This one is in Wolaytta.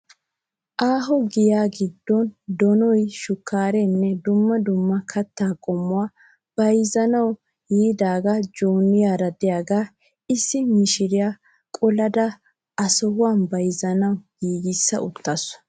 Aaho giyaa giddon donoyi shukkaarenne dumma dumma kattaa qommoyi bayizettanawu yiidaage joyiniyaara diyaagaa. Issi mishiriyaa qolada asawu bayizzanawu giigissa uttaasu.